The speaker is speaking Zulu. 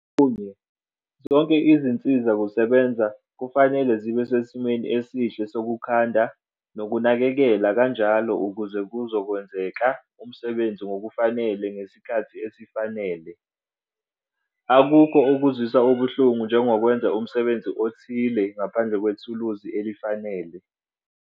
Okunye, zonke izinsiza kusebenza kufanele zibe sesimeni esihle sokukhanda nokunakekela kanjalo ukuze kuzokwenzeka umsebenzi ngokufanele ngesikhathi esifanele. Akukho okuzwisa ubuhlungu njengokwenza umsebenzi othile ngaphandle kwethuluzi elifanele.